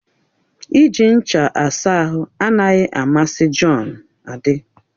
Iji ncha asa ahụ anaghị amasị Jọn. adị